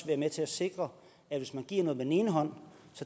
være med til at sikre at hvis man giver noget med den ene hånd